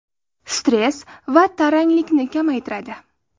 Stress va taranglikni kamaytiradi.